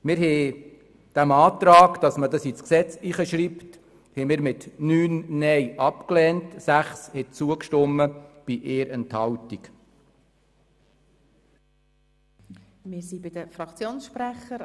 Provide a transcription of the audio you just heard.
Wir haben den Antrag, dies ins Gesetz zu schreiben, mit 9 gegen 6 Stimmen bei 1 Enthaltung abgelehnt.